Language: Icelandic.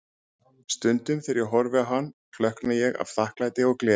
Stundum þegar ég horfi á hann, klökkna ég af þakklæti og gleði.